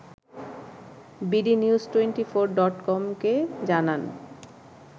bdnews twenty four ডটকমকে জানান